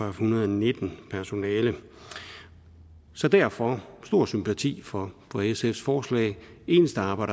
en hundrede og nitten personale så derfor har stor sympati for sfs forslag det eneste aber